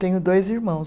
Tenho dois irmãos.